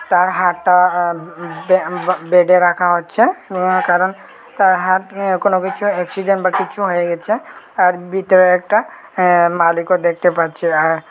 তার হাটটা আম উউম বেডে রাখা হচ্ছে কারণ তার হাত নিয়ে কোন কিছু অ্যাক্সিডেন্ট বা কোন কিছু হয়ে গেছে তার ভিতরে একটা মালিকও দেখতে পাচ্ছি আ।